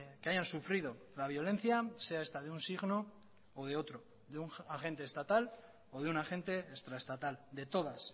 que hayan sufrido la violencia sea esta de un signo o de otro de un agente estatal o de un agente extra estatal de todas